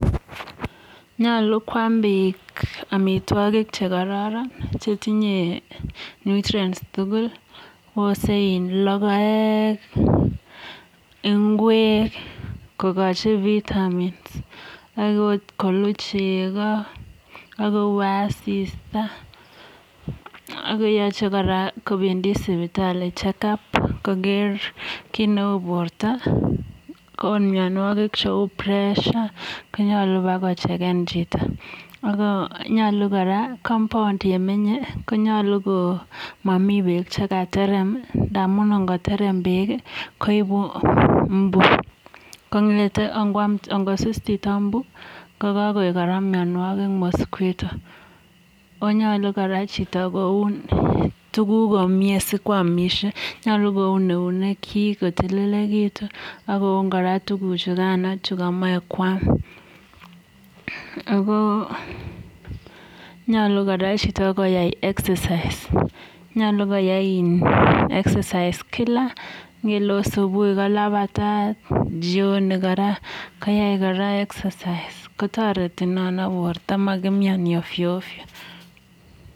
nyaluu kwaam piik amitwagik chekararan amun amitwagik chekararan kotinyeee (nutrients) chekararan ako tugul chemiteei ngweeek ,logoeek, yacheii kopendii sipitali (chechk up) ako nyaluu kopendii sipitalii kora kokere kericheeek ako nyaluu kora kouun chito tuguk chemeche koam ako nyalu kwai chito (exercise) amun makoi kimnyaaan puuch